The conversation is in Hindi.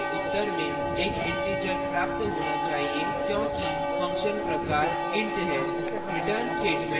इस function के उत्तर में एक integer प्राप्त होना चाहिए क्योंकि function प्रकार int है